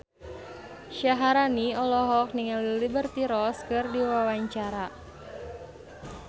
Syaharani olohok ningali Liberty Ross keur diwawancara